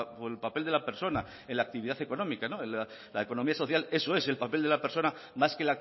por el papel de la persona en la actividad económica la economía social eso es el papel de la persona más que